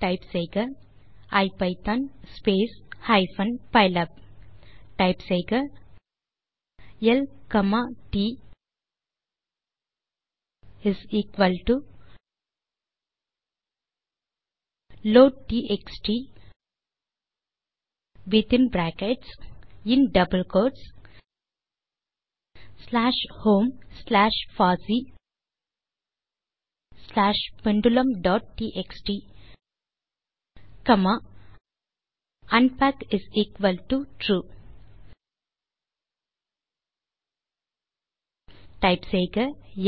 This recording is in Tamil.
டெர்மினல் லில் டைப் செய்க ஐபிதான் ஹைப்பன் பைலாப் டைப் செய்க எல் காமா ட் லோட்ட்எக்ஸ்ட் within brackets in double quotes slash home slash பாசி ஸ்லாஷ் pendulumடிஎக்ஸ்டி காமா unpackTrue